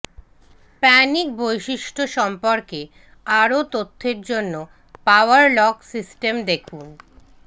panic বৈশিষ্ট্য সম্পর্কে আরো তথ্যের জন্য পাওয়ার লক সিস্টেম দেখুন